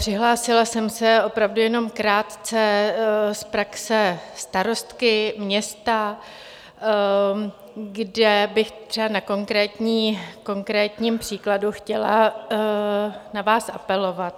Přihlásila jsem se opravdu jenom krátce z praxe starostky města, kde bych třeba na konkrétním příkladu chtěla na vás apelovat.